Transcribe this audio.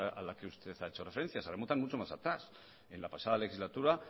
esa a la que usted ha hecho referencia se remontan mucho más atrás en la pasada legislatura